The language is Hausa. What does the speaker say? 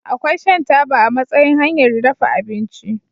Akwai shan taba a matsayin hanyar dafa abinci.